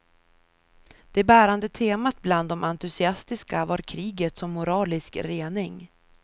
Det bärande temat bland de entusiastiska var kriget som moralisk rening.